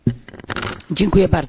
Panie Przewodniczący!